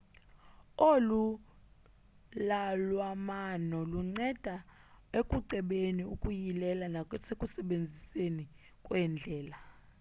olu lwalamano lunceda ukucebeni ukuyileni nasekusebenzeni kweendlela